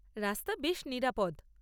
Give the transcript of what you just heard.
রাস্তা বেশ নিরাপদ।